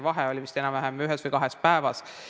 Vahe oli vist enam-vähem ühes või kahes päevas.